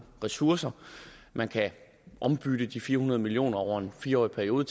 ressourcer man kan ombytte de fire hundrede million over en fire årig periode